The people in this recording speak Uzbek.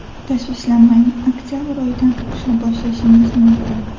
Tashvishlanmang, oktabr oyidan o‘qishni boshlashingiz mumkin.